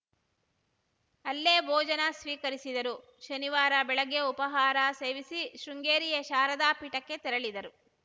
ಅಲ್ಲೇ ಭೊಜನ ಸ್ವೀಕರಿಸಿದರು ಶನಿವಾರ ಬೆಳಗ್ಗೆ ಉಪಾಹಾರ ಸೇವಿಸಿ ಶೃಂಗೇರಿಯ ಶಾರದಾ ಪೀಠಕ್ಕೆ ತೆರಳಿದರು